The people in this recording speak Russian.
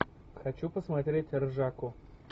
хочу посмотреть ржаку